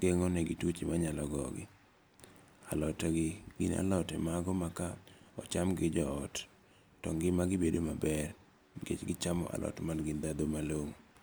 geng'o ne gituoche manyalo gogo. Alote gi gine alote mago ma kocham gi jo ot to ngima gi bedo maber nikech gichamo alot man gi dhadho malong'o.